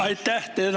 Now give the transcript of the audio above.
Aitäh!